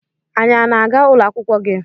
Anyị a na-aga ụlọ akwụkwọ gị?